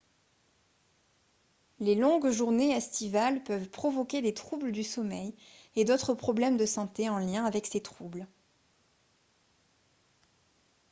les longues journées estivales peuvent provoquer des troubles du sommeil et d'autres problèmes de santé en lien avec ces troubles